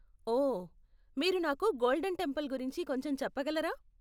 ఓ, మీరు నాకు Golden Temple గురించి కొంచెం చెప్పగలరా?